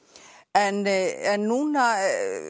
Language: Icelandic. en en núna